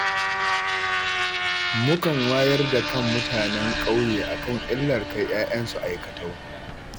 Mukan wayar da kan mutanen ƙauye a kan illar kai 'ya'yansu aikatau